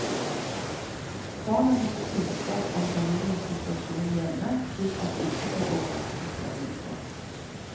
Barna må få kunnskap om familiens situasjon hjemme, slik at de ikke får overraskelser ute.